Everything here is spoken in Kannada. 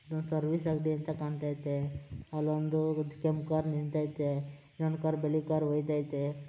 ಇದು ಸರ್ವಿಸ್ ಅಂತ ಕಾಣಿಸ್ತಾ ಇದೆ ಅಲ್ಲೊಂದು ಕೆಂಪು ಕಾರು ನಿಂತಿದೆ ಇನ್ನೊಂದು ಬಿಳಿ ಕಾರು ಹೋಗ್ತಾ ಐತೆ.